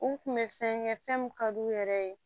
U kun bɛ fɛn kɛ fɛn min ka d'u yɛrɛ ye